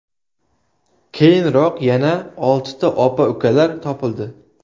Keyinroq yana oltita opa-ukalar topildi.